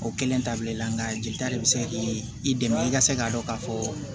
O kelen tabila i la nka jelita de be se k'i dɛmɛ i ka se k'a dɔn ka fɔ